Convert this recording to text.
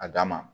A dan ma